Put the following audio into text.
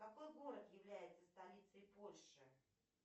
какой город является столицей польши